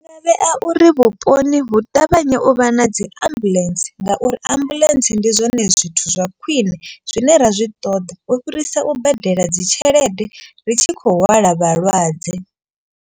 Vha vhea uri vhuponi hu ṱavhanye u vha na dzi ambuḽentse ngauri ambuḽentse ndi zwone zwithu zwa khwine. Zwine ra zwi ṱoḓa u fhirisa u badela dzi tshelede ri tshi khou hwala vhalwadze.